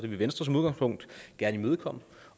venstre som udgangspunkt gerne imødekomme